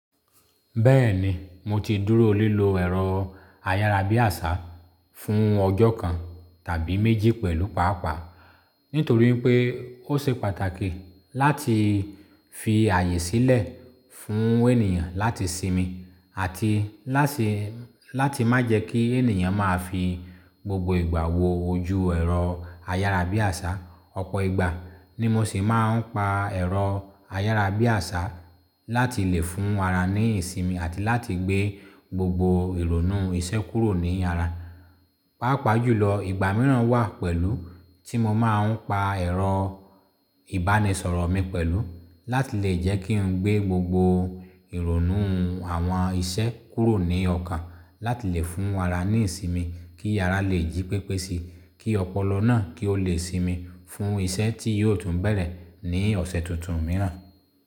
Bẹ́ẹ̀ni mo ti dúró o lílo ẹ̀rọ ayárabíàṣá fún ọjọ́ kan tàbí méjì pẹ̀lú pàápàá nítorí pé ó ṣe pàtàkì láti fi ààyè sílẹ̀ fún ènìyàn láti sinmi àti láti má jẹ́ kí ènìyàn máa fi gbogbo ìgbà wo ojú ẹ̀rọ ayárabíàṣá. Ọ̀pọ̀ ìgbà ni mo sì máa ń pa ẹ̀rọ ayárabíàṣá láti lè fún ara ní ìsinmi àti láti gbé gbogbo ìrònú iṣẹ́ kúrò ní ara. Pàápàá julọ ìgbà mìíràn wà pẹ̀lú tí mo máa ń pa ẹ̀rọ ìbánisọ̀rọ̀ mi pẹ̀lú láti lè jẹ́ kí n gbé gbogbo ìrònúhun àwọn iṣẹ́ kúrò ní ọkàn láti lè fún ara ní ìsinmi kí ara leè jí pépé si, kí ọpọlọ náà kí ó lè sinmi fún iṣẹ́ tí yóò tún bẹ̀rẹ̀ ní ọ̀sẹ̀ tuntun míràn.